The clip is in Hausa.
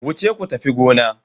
Wuce ku tafi gona.